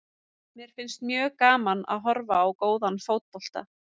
Mér finnst mjög gaman að horfa á góðan fótbolta.